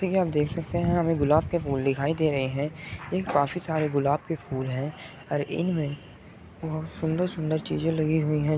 कि आप देख सकते हैं हमें गुलाब के फूल दिखाई दे रहे हैं। ये काफी सारे गुलाब के फूल हैं और इनमें बोहोत सुंदर सुंदर चीजें लगी हुई हैं।